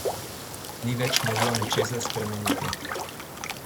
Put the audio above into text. Nič več ni moglo ničesar spremeniti.